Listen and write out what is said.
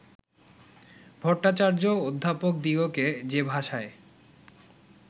ভট্টাচার্য অধ্যাপকদিগকে যে ভাষায়